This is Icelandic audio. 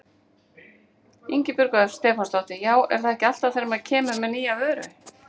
Ingibjörg Ösp Stefánsdóttir: Já er það ekki alltaf þegar maður kemur með nýja vöru?